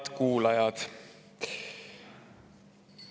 Head kuulajad!